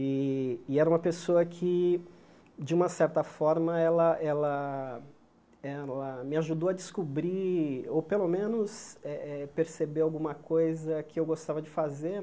E e era uma pessoa que, de uma certa forma, ela ela ela me ajudou a descobrir, ou pelo menos eh eh perceber alguma coisa que eu gostava de fazer.